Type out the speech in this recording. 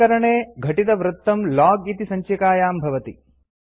उपकरणे घटितवृत्तं लोग इति सञ्चिकायां भवति